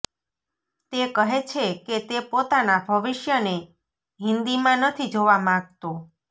તે કહે છે કે તે પોતાના ભવિષ્યને હિન્દીમાં નથી જોવા માંગતો